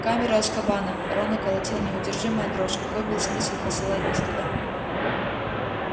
в камеру азкабана рона колотила неудержимая дрожь какой был смысл посылать нас туда